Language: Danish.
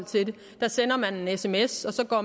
til det der sender man en sms og så går